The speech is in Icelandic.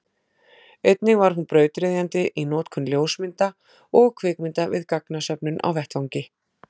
einnig var hún brautryðjandi í notkun ljósmynda og kvikmynda við gagnasöfnun á vettvangi